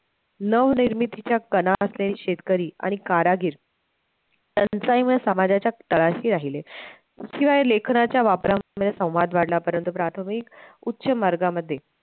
नवनिर्मितीचा कणा असलेले शेतकरी आणि कारागीर टंचाईमुळे समाजाच्या तळाशी राहिले शिवाय लेखनाच्या वापरमुडे संवाद वाढला परंत प्राथमिक उच्च वर्गामध्ये